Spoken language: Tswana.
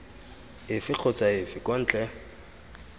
efe kgotsa efe kwa ntle